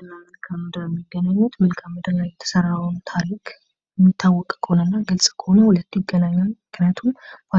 ታሪክና ምድር የአንድ አገር መገለጫ ሲሆኑ ታሪክ ባለፈ ነገር ላይ ተመሰረተ ያለፈ